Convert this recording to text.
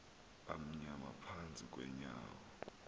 amnyama phantsi kweenyawo